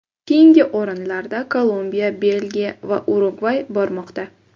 Keyingi o‘rinlarda Kolumbiya, Belgiya va Urugvay bormoqda.